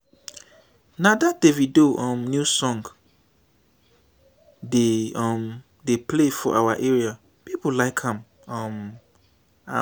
na that davido um new song dem um dey play for our area people like um am